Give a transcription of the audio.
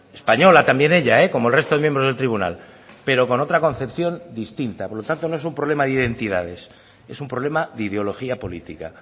española también ella como el resto de miembros del tribunal pero con otra concepción distinta por lo tanto no es un problema de identidades es un problema de ideología política